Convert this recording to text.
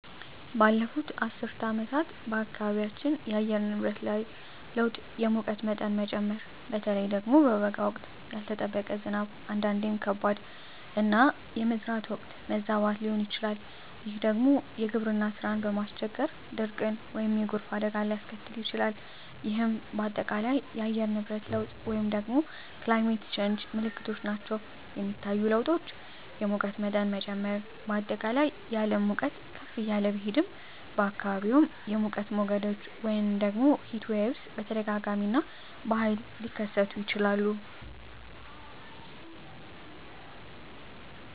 ባለፉት አስርት ዓመታት በአካባቢያችን የአየር ንብረት ላይ ለውጥ የሙቀት መጠን መጨመር (በተለይ በበጋ ወቅት)፣ ያልተጠበቀ ዝናብ (አንዳንዴም ከባድ)፣ እና የመዝራት ወቅት መዛባት ሊሆን ይችላል፤ ይህ ደግሞ የግብርና ሥራን በማስቸገር ድርቅን ወይም የጎርፍ አደጋን ሊያስከትል ይችላል፣ ይህም በአጠቃላይ የአየር ንብረት ለውጥ (Climate Change) ምልክቶች ናቸው. የሚታዩ ለውጦች: የሙቀት መጠን መጨመር: በአጠቃላይ የዓለም ሙቀት ከፍ እያለ ቢሄድም፣ በአካባቢዎም የሙቀት ሞገዶች (Heatwaves) በተደጋጋሚ እና በኃይል ሊከሰቱ ይችላሉ.